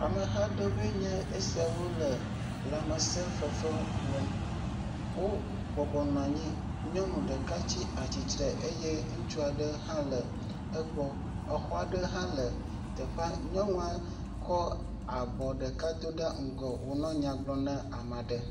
Ameha ɖewoe nye esiawo le lamesefefewo wɔm. Wo bɔbɔnɔ anyi. Nyɔnu ɖeka tsi atsitre eye ŋutsua ɖe hã le egbɔ. Exɔa ɖe hã le teƒea. Nyɔnua kɔ abɔ ɖeka do ŋgɔ wo nɔ nya gblɔm na ame aɖe.